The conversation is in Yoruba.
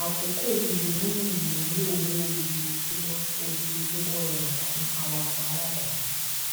akókò yìí lè mú ìmúlò owó ojoojúmọ ojoojúmọ rọrùn fún awakọ aláàdáni